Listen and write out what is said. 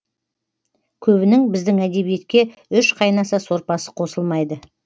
көбінің біздің әдебиетке үш қайнаса сорпасы қосылмайды